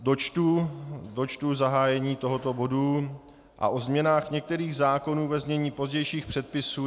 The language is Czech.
Dočtu zahájení tohoto bodu: a o změnách některých zákonů, ve znění pozdějších předpisů.